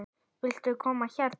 Viltu koma hérna?